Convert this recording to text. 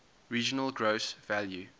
regional gross value